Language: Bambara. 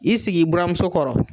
I sigi i buramuso kɔrɔ